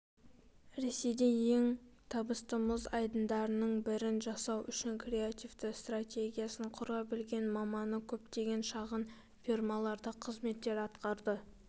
ресейде ең табысты мұз айдындарының бірін жасау үшін креативті стратегиясын құра білген маманы көптеген шағын фирмаларда қызметтер атқарды